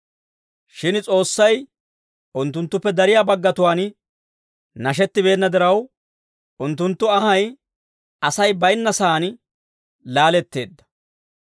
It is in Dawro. Shin S'oossay unttunttuppe dariyaa baggatuwaan nashettibeenna diraw, unttunttu anhay Asay baynna saan laaletteedda.